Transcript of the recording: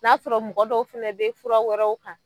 N'a sɔrɔ mɔgɔ dɔw fɛnɛ bɛ fura wɛrɛw kan